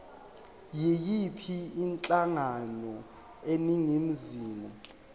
yiyiphi inhlangano eningizimu